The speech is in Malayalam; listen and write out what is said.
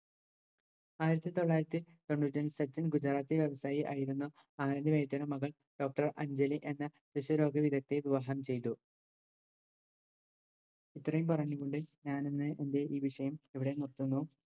ആയിരത്തിത്തൊള്ളായിരത്തി തൊണ്ണൂറ്റഞ്ച് ഗുജറാത്തടുത്തായി ആയിരുന്നു മകൾ doctor അഞ്ജലി എന്ന വിവാഹം ചെയ്തത് ഇത്രയും പറഞ്ഞു കൊണ്ട് ഞാനിന്ന് എൻറെ ഈ വിഷയം ഇവിടെ നിർത്തുന്നു